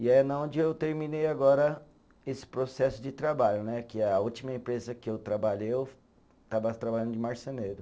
E é na onde eu terminei agora esse processo de trabalho né, que a última empresa que eu trabalhei eu estava trabalhando de marceneiro.